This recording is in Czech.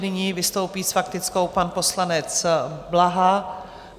Nyní vystoupí s faktickou pan poslanec Blaha.